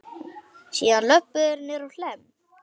Síðan löbbuðu þeir niðrá Hlemm.